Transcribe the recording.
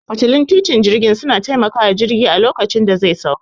Fitilun titin jirgin suna taimakawa jirgi a lokacin da zai sauka